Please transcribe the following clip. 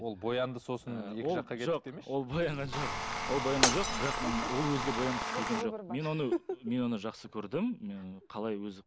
ол боянды сосын ол боянған жоқ ол боянған жоқ бірақ ол өзі де боянғысы келген жоқ мен оны мен оны жақсы көрдім қалай өзі